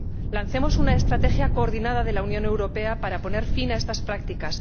Lancemos una estrategia coordinada de la Unión Europea para poner fin a estas prácticas.